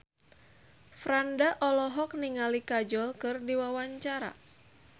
Franda olohok ningali Kajol keur diwawancara